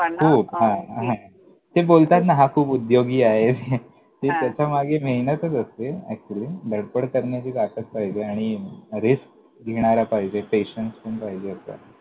त्यांना खूप हां हां हां! ते बोलतात ना, हा खूप उद्योगी आहे. हां त्याच्यामागे मेहनतच असते, धडपड करण्याची ताकद पाहिजे, आणि risk घेणारा पाहिजे, patience पण पाहिजे.